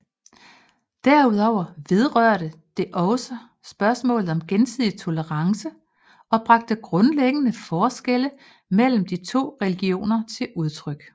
Derudover vedrørte det også spørgsmålet om gensidig tolerance og bragte grundlæggende forskelle mellem de to religioner til udtryk